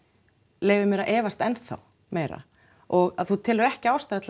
leyfir mér að efast ennþá meira og að þú telur ekki ástæðu til